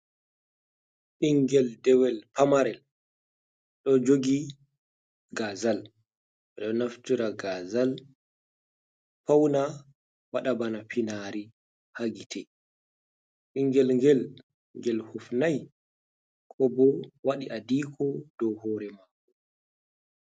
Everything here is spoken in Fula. Ɓingel dewel pamarel ɗo jogi gazal, ɗo naftira gazal pauna, waɗa bana finari ha gitte, ɓingel gel, gel hufnai ko bo waɗi adiko ha hore mako.